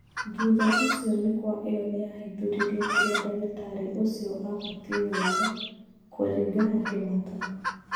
Thutha ũcio mĩkua ĩyo nĩyahithũririe kĩrĩa dagĩtarĩ ũcio abatiĩ gwĩka " kũringana Kĩmata.